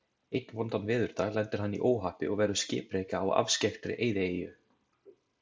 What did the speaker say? Einn vondan veðurdag lendir hann í óhappi og verður skipreka á afskekktri eyðieyju.